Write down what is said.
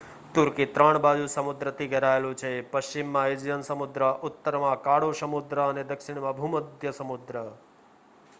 તુર્કી 3 બાજુ સમુદ્રથી ઘેરાયેલું છે પશ્ચિમમાં એજિયન સમુદ્ર ઉત્તરમાં કાળો સમુદ્ર અને દક્ષિણમાં ભૂમધ્ય સમુદ્ર